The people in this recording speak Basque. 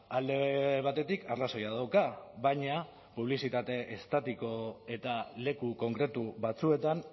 alde batetik arrazoia dauka baina publizitate estatiko eta leku konkretu batzuetan